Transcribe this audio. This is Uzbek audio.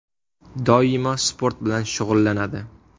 Doimo sport bilan shug‘ullanadi.